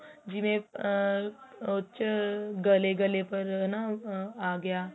ਜਿਵੇਂ ਆਹ ਉਹਚ ਗਲੇ ਗਲੇ ਪਰ ਨਾ ਆ ਗਿਆ